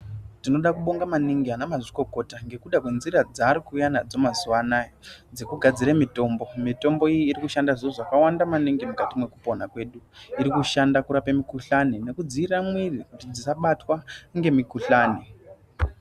Tinoda kubonga maningi ana mazvikokota ngekuda kwnzira dzaari kuuya nadzo mazuwanaya dzekugadzira mitombo. Mutombo iyi inoshand zviro zvakawanda maningi mukati mwekupona kwedu. Irikishanda kurape mikhuhlane nekudzivirira mwiri kuti dzisabatwa nemikhuhlane.